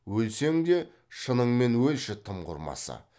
өлсең де шыныңмен өлші тым құрмаса